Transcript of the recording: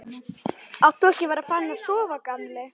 Átt þú ekki að vera farinn að sofa, gamli?